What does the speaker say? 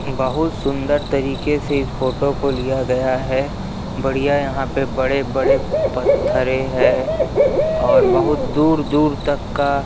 बहुत सुन्दर तरीके से इस फोटो को लिया गया है बढ़िया यहाँ पे बड़े-बड़े पत्थरे है और बहुत दूर-दूर तक का--